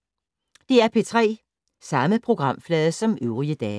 DR P3